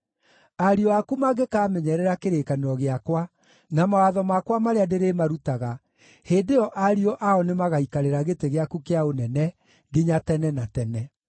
ariũ aku mangĩkaamenyerera kĩrĩkanĩro gĩakwa na mawatho makwa marĩa ndĩrĩmarutaga, hĩndĩ ĩyo ariũ ao nĩmagaikarĩra gĩtĩ gĩaku kĩa ũnene nginya tene na tene.”